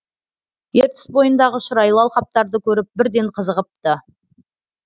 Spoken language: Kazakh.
ертіс бойындағы шұрайлы алқаптарды көріп бірден қызығыпты